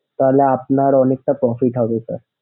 তাহলে আপনার অনেকটা থাকে sir